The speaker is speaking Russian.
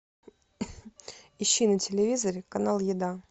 ищи на телевизоре канал еда